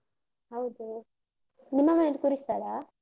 ಹೌದು, ನಿಮ್ಮ ಮನೇಲಿ ಕೂರಿಸ್ತಾರಾ?